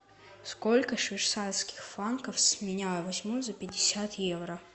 сколько швейцарских франков с меня возьмут за пятьдесят евро